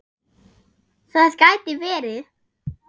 Það gæti verið